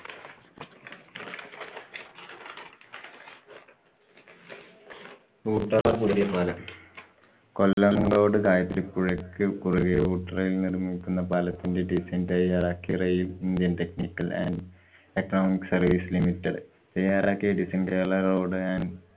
ഊട്ടറ പുതിയ പാലം. കൊല്ലംങ്കോട് ഗായത്രിപ്പുഴക്ക്‌ കുറുകെ ഊട്ടറയില്‍ നിര്‍മ്മിക്കുന്ന പാലത്തിന്‍ടെ design തയ്യാറാക്കിയ യില്‍ indian technical and economic service limited തയ്യാറാക്കിയ designkerala road and